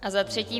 A za třetí.